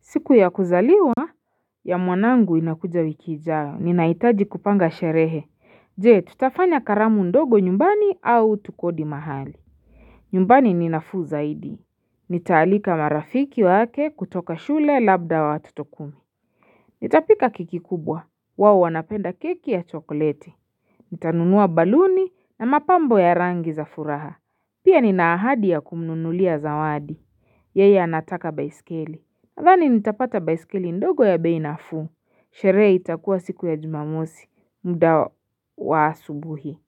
Siku ya kuzaliwa ya mwanangu inakuja wiki ijayo ninaitaji kupanga sherehe Je tutafanya karamu ndogo nyumbani au tukodi mahali nyumbani ni nafuu zaidi Nitaalika marafiki wake kutoka shule labda wa tutokumu Nitapika keki kubwa wao wanapenda keki ya chokoleti Nitanunua baluni na mapambo ya rangi za furaha Pia ninaahadi ya kumnunulia zawadi Yeye anataka baisikeli Adhani nitapata baisikili ndogo ya bei nafuu sherehe itakuwa siku ya jumamosi muda wa asubuhi